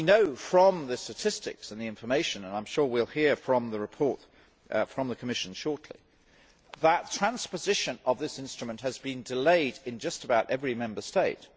We know from the statistics and the information and I am sure we will hear from the Commission shortly that transposition of this instrument has been delayed in just about every Member State.